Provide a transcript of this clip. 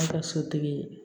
An ka sotigi